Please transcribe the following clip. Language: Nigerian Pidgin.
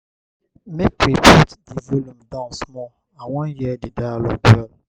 make we put di volume down small i wan hear di dialogue well.